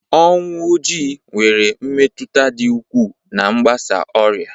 Ọnwụ Ojii nwere mmetụta dị ukwuu na mgbasa ọrịa